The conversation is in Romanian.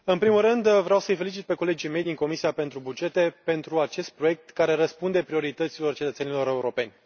Domnule președinte, în primul rând vreau să îi felicit pe colegii mei din Comisia pentru bugete pentru acest proiect, care răspunde priorităților cetățenilor europeni.